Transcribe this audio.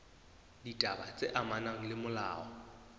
ditaba tse amanang le molao